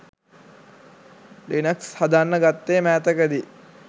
Linux හදන්න ගත්තෙ මෑතකදි.